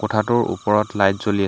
কোঠাটোৰ ওপৰত লাইট জ্বলি আছে।